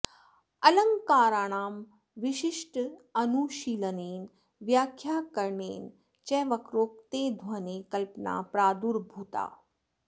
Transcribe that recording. अलङ्काराणां विशिष्टानुशीलनेन व्याख्याकरणेन च वक्रोक्तेः ध्वनेः कल्पना प्रादुर्भूता